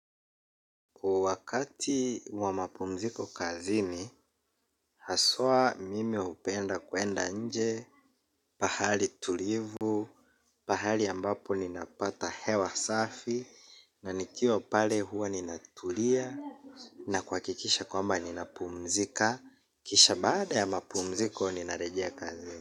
Wa wakati wa mapumziko kazini, haswa mimi hupenda kwenda nje, pahali tulivu, pahali ambapo ninapata hewa safi, na nikio pale huwa ninaturia, na kuhakikisha kwamba ninapumzika, kisha baada ya mapumziko ninarejea kazini.